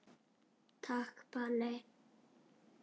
Takk Palli.